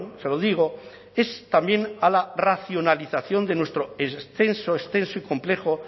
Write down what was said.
se lo digo es también a la racionalización de nuestro extenso extenso y complejo